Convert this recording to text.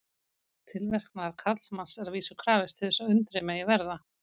Tilverknaðar karlmanns er að vísu krafist til þess að undrið megi verða.